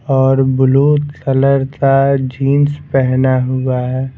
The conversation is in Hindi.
और ब्लू कलर का जींस पहना हुआ हैं ।